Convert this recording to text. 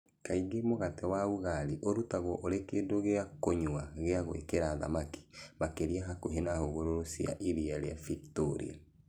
Kaingĩ mũgate wa Ugali ũrutagwo ũrĩ kĩndũ gĩa kũnyua gĩa gwĩkĩra thamaki, makĩria hakuhĩ na hũgũrũrũ cia iria rĩa Victoria.